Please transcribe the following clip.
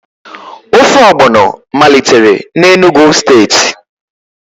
Ofe ogbọno malitere na Enugu steeti